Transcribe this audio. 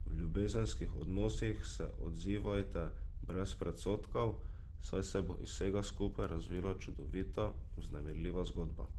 V ljubezenskih odnosih se odzivajte brez predsodkov, saj se bo iz vsega skupaj razvila čudovita, vznemirljiva zgodba.